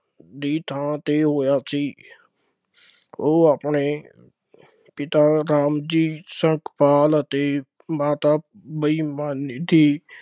ਦੀ ਥਾਂ ਤੇ ਹੋਇਆ ਸੀ ਉਹ ਆਪਣੇ ਪਿਤਾ ਰਾਮਜੀ ਸਿਕਪਾਲ ਅਤੇ ਮਾਤਾ ਬਾਈ ਮਾਲੋਜੀ